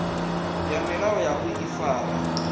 ya milayo ya u ifara